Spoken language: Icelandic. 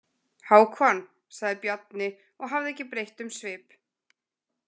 Hákon, sagði Bjarni og hafði ekki breytt um svip.